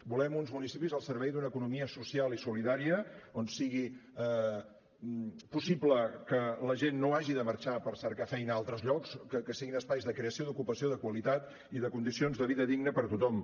volem uns municipis al servei d’una economia social i solidària on sigui possible que la gent no hagi de marxar per cercar feina a altres llocs que siguin espais de creació d’ocupació de qualitat i de condicions de vida digna per a tothom